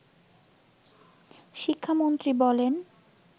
শিক্ষামন্ত্রী বলেন